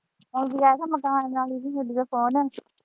ਅਸੀਂ ਜਿਸਲੇ ਆਏ ਤੇ ਮਕਾਨ ਮਾਲਕ ਦੀ ਵਿਦਿਓਕੋਲ ਆਈ।